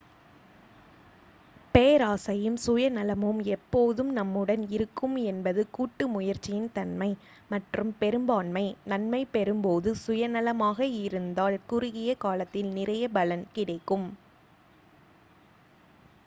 பேராசையும் சுயநலமும் எப்போதும் நம்முடன் இருக்கும் என்பது கூட்டு முயற்சியின் தன்மை மற்றும் பெரும்பான்மை நன்மை பெறும் போது சுயநலமாக இருந்தால் குறுகிய காலத்தில் நிறைய பலன் கிடைக்கும்